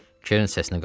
Keren səsinə qaldırdı.